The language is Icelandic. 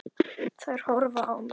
Þær horfa á mig.